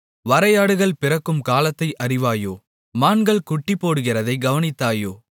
வரையாடுகள் பிறக்கும் காலத்தை அறிவாயோ மான்கள் குட்டிபோடுகிறதைக் கவனித்தாயோ